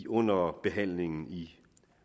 under behandlingen i